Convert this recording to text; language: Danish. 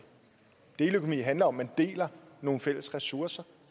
deleøkonomi handler om at man deler nogle fælles ressourcer